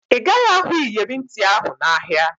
Ị gaghị ahụ iyeri ntị ahụ n'ahịa